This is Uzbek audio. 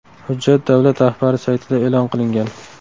Hujjat davlat rahbari saytida e’lon qilingan.